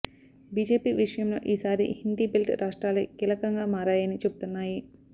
BJP విజయంలో ఈ సారి హిందీ బెల్ట్ రాష్ట్రాలే కీలకంగా మారాయని చెబుతున్నాయి